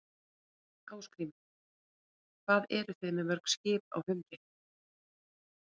Ásgrímur: Hvað eruð þið með mörg skip á humri?